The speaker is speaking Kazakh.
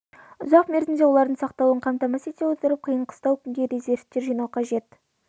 ұзақ мерзімде олардың сақталуын қамтамасыз ете отырып қиын-қыстау күнге резервтер жинау қажет